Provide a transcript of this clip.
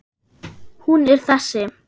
Hún er þessi